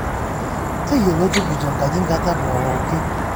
Teyiolo tujuto nkaji ngata pooki